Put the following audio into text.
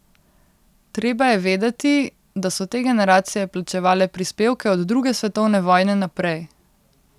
Treba je vedeti, da so te generacije plačevale prispevke od druge svetovne vojne naprej!